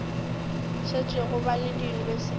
šetšego ba le diyunibesithi le